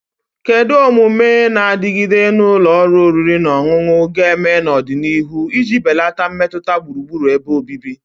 Kedu omume na-adigide na ụlọ oriri na ọṅụṅụ ga-eme n'ọdịnihu iji belata mmetụta gburugburu ebe obibi?